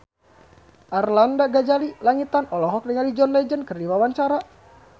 Arlanda Ghazali Langitan olohok ningali John Legend keur diwawancara